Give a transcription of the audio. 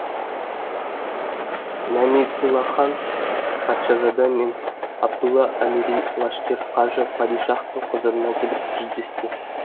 нәмитуллахан патшазада мен абдулла әмири лашкер қажы падишахтың құзырына келіп жүздесті